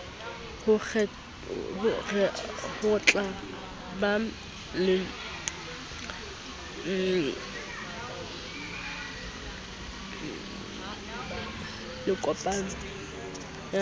ho rehotla ba lekopano ya